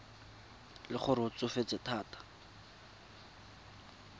le gore o tsofetse thata